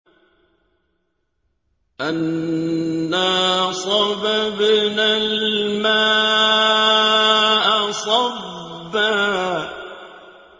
أَنَّا صَبَبْنَا الْمَاءَ صَبًّا